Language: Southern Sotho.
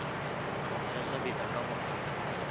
a mo jajabetsa kabohale a